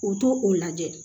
U to o lajɛ